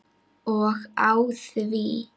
Og á því!